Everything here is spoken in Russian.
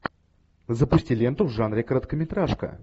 запусти ленту в жанре короткометражка